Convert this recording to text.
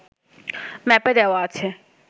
ম্যাপে দেওয়া আছে